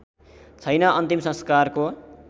छैन अन्तिम संस्कारको